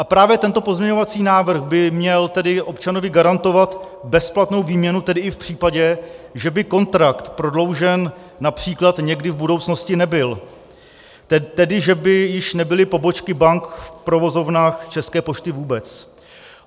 A právě tento pozměňovací návrh by měl tedy občanovi garantovat bezplatnou výměnu, tedy i v případě, že by kontrakt prodloužen například někdy v budoucnosti nebyl, tedy, že by již nebyly pobočky bank v provozovnách České pošty vůbec.